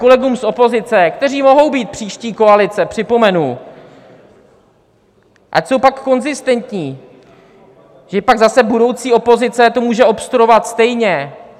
Kolegům z opozice, kteří mohou být příští koalice, připomenu, ať jsou pak konzistentní, že pak zase budoucí opozice to může obstruovat stejně.